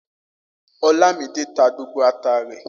Olamide ta gbogbo ata rẹ̀